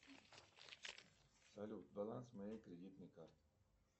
салют баланс моей кредитной карты